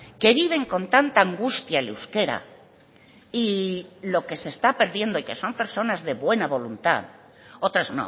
que viven con tanta angustia el euskera y lo que se está perdiendo y que son personas de buena voluntad otras